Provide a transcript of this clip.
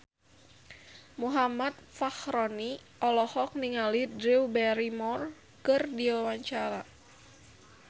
Muhammad Fachroni olohok ningali Drew Barrymore keur diwawancara